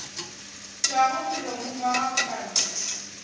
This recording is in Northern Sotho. tšwago molomong wa gago mantšu